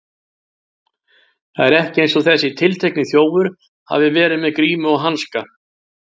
Það er ekki eins og þessi tiltekni þjófur hafi verið með grímu og hanska.